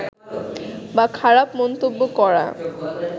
বা খারাপ মন্তব্য করা